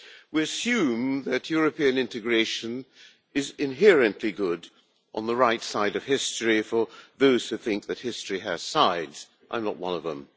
We assume that European integration is inherently good, on the right side of history, for those who think that history has sides and I am not one of them.